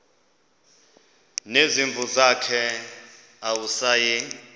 nezimvu zakhe awusayi